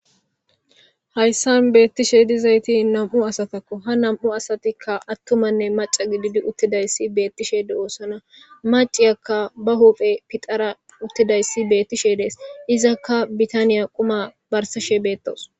hayssan beettishe dizayti nam7u asatakko ha nam7u asatikka attumanne maca gididi uttidayssi beettishede oossana maciyakka ba hoophe pixara uttidayssi bettishe dees izakka bitaniya quma barsashe beettos